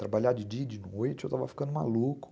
Trabalhar de dia e de noite, eu estava ficando maluco.